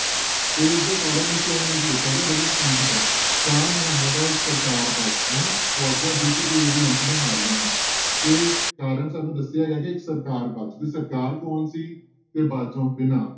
ਤੇ ਇਸਦਾ ਕਾਰਨ ਇਸ line ਵਿੱਚ ਦਿੱਤਾ ਗਿਆ ਬੜੀ ਚੰਗੀ ਤਰ੍ਹਾਂ ਸ਼ਾਹ ਮੁਹੰਮਦਾ ਇਕ ਸਰਕਾਰ ਬਾਝੋਂ, ਫੌਜਾਂ ਜਿੱਤ ਕੇ ਵੀ ਅੰਤ ਨੂੰ ਹਾਰੀਆਂ ਨੀ ਤੇ ਕਾਰਨ ਸਾਨੂੰ ਦੱਸਿਆ ਗਿਆ ਕਿ ਇੱਕ ਸਰਕਾਰ ਬਾਝੋਂ ਤੇ ਸਰਕਾਰ ਕੌਣ ਸੀ ਦੇ ਬਾਝੋਂ ਬਿਨਾਂ।